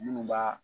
Minnu b'a